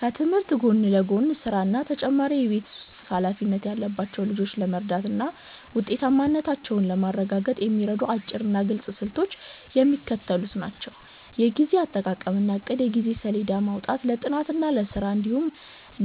ከትምህርት ጎን ለጎን ስራ እና ተጨማሪ የቤት ውስጥ ኃላፊነት ያለባቸውን ልጆች ለመርዳትና ውጤታማነታቸውን ለማረጋገጥ የሚረዱ አጭርና ግልጽ ስልቶች የሚከተሉት ናቸው፦ የጊዜ አጠቃቀምና እቅድ የጊዜ ሰሌዳ ማውጣት፦ ለጥናት፣